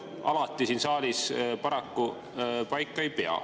Alati see siin saalis paraku paika ei pea.